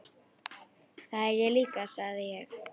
Það er ég líka sagði ég.